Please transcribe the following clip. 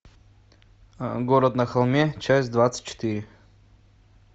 город на холме часть двадцать четыре